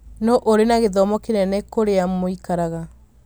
Nũũ ũrĩ na gĩthomo kĩnene kũrĩa mũikaraga